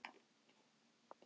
Svo er sagt.